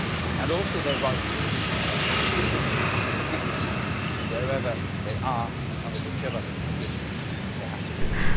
and also their right to be treated with dignity wherever they are and under whatever conditions they have to live.